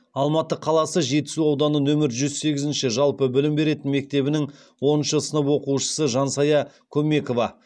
алматы қаласы жетісу ауданы нөмір жүз сегіз жалпы білім беретін мектебінің оныншы сынып оқушысы жансая көмекова